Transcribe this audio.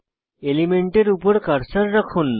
এলিমেন্টের উপর কার্সার রাখুন